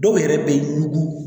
Dɔw yɛrɛ bɛ yuruku